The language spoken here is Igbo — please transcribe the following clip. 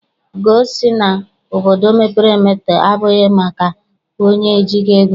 Ugoo sị na obodo mepere emepe abụghị maka onye ejighị ego.